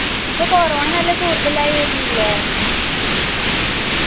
ഇപ്പൊ കൊറോണ നല്ല കൂടുതലായി വെരുന്നില്ലേ